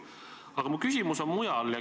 Aga mu küsimus on muu kohta.